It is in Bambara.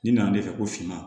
Ni nana ne fɛ ko finman